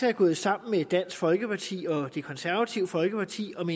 er gået sammen med dansk folkeparti og det konservative folkeparti om